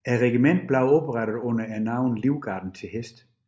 Regimentet blev oprettet under navnet Livgarden til Hest